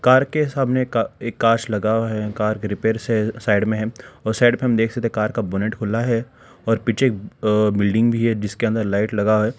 Car के सामने का एक कांच लगा है कार के रिपेयर साइड में है और साइड पे हम देख सकते हैं कार का बोनट खुला है और पीछे अ बिल्डिंग भी है जिसके अंदर लाइट लगा है।